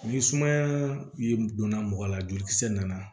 Ni sumaya ye donna mɔgɔ la jolikisɛ nana